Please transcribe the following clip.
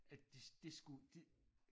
At de det skulle det